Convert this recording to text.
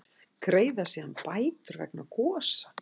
Greiða síður bætur vegna gosa